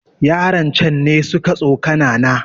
Yaran can ne suka tsokana na